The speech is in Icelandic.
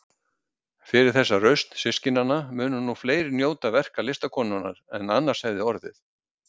Fyrir þessa rausn systkinanna munu nú fleiri njóta verka listakonunnar en annars hefði orðið.